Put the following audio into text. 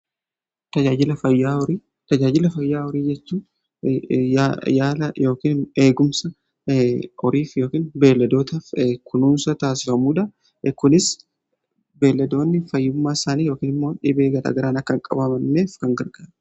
Tajaajiila fayyaa horii jechuun yaala eegumsa horii fi beelladootaaf kunuunsa taasifamuudha. Kunis beelladoonni fayyummaa isaanii yookiin immoo dhibee garaa garaan akka hin qabamneef kan gargaarudha.